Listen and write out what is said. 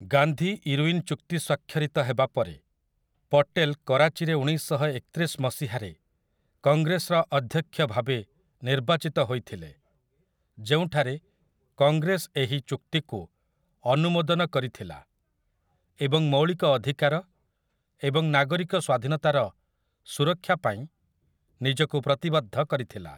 Gandhi Irwin ଚୁକ୍ତି ସ୍ୱାକ୍ଷରିତ ହେବା ପରେ, ପଟେଲ୍ କରାଚିରେ ଉଣେଇଶଶହ ଏକତିରିଶ ମସିହାରେ କଂଗ୍ରେସର ଅଧ୍ୟକ୍ଷ ଭାବେ ନିର୍ବାଚିତ ହୋଇଥିଲେ, ଯେଉଁଠାରେ କଂଗ୍ରେସ ଏହି ଚୁକ୍ତିକୁ ଅନୁମୋଦନ କରିଥିଲା ଏବଂ ମୌଳିକ ଅଧିକାର ଏବଂ ନାଗରିକ ସ୍ୱାଧୀନତାର ସୁରକ୍ଷା ପାଇଁ ନିଜକୁ ପ୍ରତିବଦ୍ଧ କରିଥିଲା ।